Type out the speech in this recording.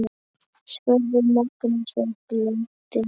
spurði Magnús og glotti.